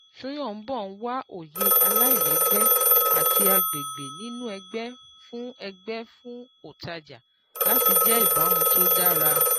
Soyombo n wá òye aláìlẹ́gbẹ́ àti agbègbè nínú ẹgbẹ́, fún ẹgbẹ́, fún ọ̀tajà láti jẹ́ ìbámu tó dára.